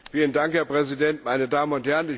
Herr Präsident, meine Damen und Herren!